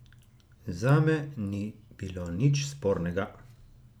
Zame ni bilo nič spornega.